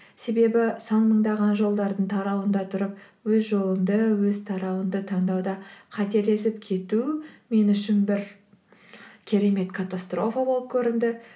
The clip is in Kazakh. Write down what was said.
себебі сан мыңдаған жолдардың тарауында тұрып өз жолыңды өз тарауыңды таңдауда қателесіп кету мен үшін бір керемет катастрофа болып көрінді